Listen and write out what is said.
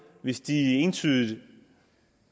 hvis de entydigt